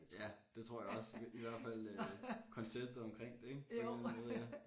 Ja det tror jeg også i hvert fald øh konceptet omkring det ik på en eller anden måde ja